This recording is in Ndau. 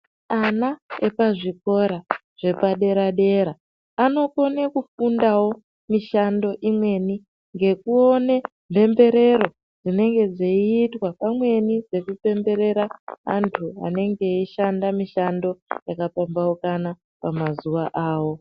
Ana epazvikora zvepadera dera anokone kufundawo mishando imweni ngekuone mhemberero dzinenge dzeiitwa pamweni nekupemberera antu anenge eishanda mishando yakapambaukana mazuwa awo.